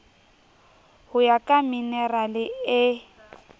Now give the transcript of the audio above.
ho ya ka minerale e